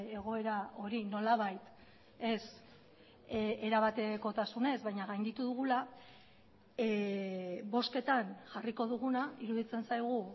egoera hori nolabait ez erabatekotasunez baina gainditu dugula bozketan jarriko duguna iruditzen zaigu